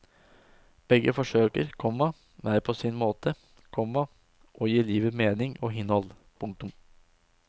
Begge forsøker, komma hver på sin måte, komma å gi livet mening og innhold. punktum